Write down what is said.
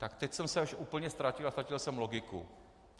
Tak teď jsem se až úplně ztratil a ztratil jsem logiku.